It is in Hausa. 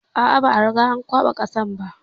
A a, ba a riga an kwaɓa kasar ba.